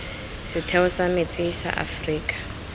setheo sa metsi sa aforika